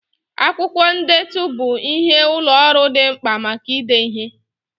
Akwụkwọ ndetu bụ ihe ụlọ ọrụ dị mkpa maka ide ihe.